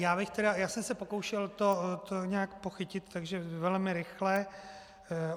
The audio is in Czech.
Já jsem se pokoušel to nějak pochytit, takže velmi rychle.